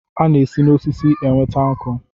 A na-esi na osisi enweta nkụ.